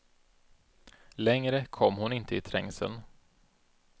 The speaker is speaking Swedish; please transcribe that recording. Längre kom hon inte i trängseln.